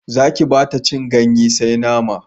Zaki bata cin ganye sai nama